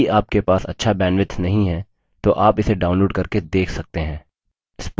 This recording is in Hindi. यदि आपके पास अच्छा bandwidth नहीं है तो आप इसे download करके देख सकते हैं